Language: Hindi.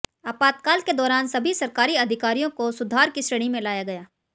आपातकाल के दौरान सभी सरकारी अधिकारियों को सुधार की श्रेणी में लाया गया